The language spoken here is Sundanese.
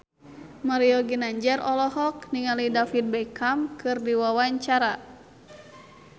Mario Ginanjar olohok ningali David Beckham keur diwawancara